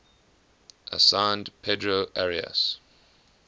assigned pedro arias